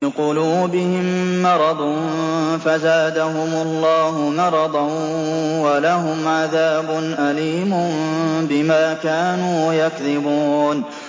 فِي قُلُوبِهِم مَّرَضٌ فَزَادَهُمُ اللَّهُ مَرَضًا ۖ وَلَهُمْ عَذَابٌ أَلِيمٌ بِمَا كَانُوا يَكْذِبُونَ